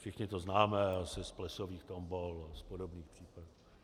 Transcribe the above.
Všichni to známe asi z plesových tombol nebo podobných případů.